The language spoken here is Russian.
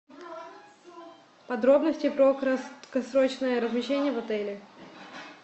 подробности про краткосрочное размещение в отеле